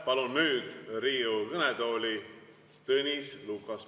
Palun nüüd Riigikogu kõnetooli Tõnis Lukase.